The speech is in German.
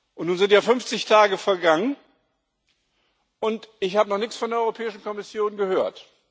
Und nun sind ja 50 Tage vergangen, und ich habe noch nichts von der Europäischen Kommission gehört.